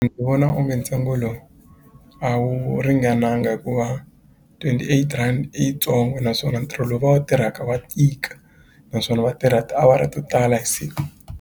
vona onge ntsengo lowu a wu ringananga hikuva twenty eight rand i yitsongo naswona ntirho lowu va wu tirhaka wa tika naswona va tirha tiawara to tala hi siku.